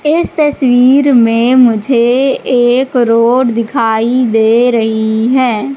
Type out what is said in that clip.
इस तस्वीर में मुझे एक रोड दिखाई दे रही है।